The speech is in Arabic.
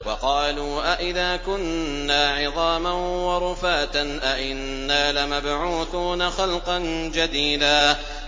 وَقَالُوا أَإِذَا كُنَّا عِظَامًا وَرُفَاتًا أَإِنَّا لَمَبْعُوثُونَ خَلْقًا جَدِيدًا